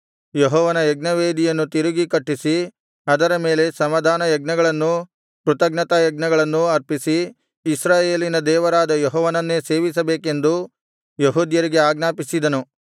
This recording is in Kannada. ಯೆಹೋವನ ಯಜ್ಞವೇದಿಯನ್ನು ತಿರುಗಿ ಕಟ್ಟಿಸಿ ಅದರ ಮೇಲೆ ಸಮಾಧಾನಯಜ್ಞಗಳನ್ನೂ ಕೃತಜ್ಞತಾಯಜ್ಞಗಳನ್ನೂ ಅರ್ಪಿಸಿ ಇಸ್ರಾಯೇಲಿನ ದೇವರಾದ ಯೆಹೋವನನ್ನೇ ಸೇವಿಸಬೇಕೆಂದು ಯೆಹೂದ್ಯರಿಗೆ ಆಜ್ಞಾಪಿಸಿದನು